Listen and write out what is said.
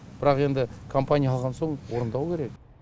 бірақ енді компания алған соң орындау керек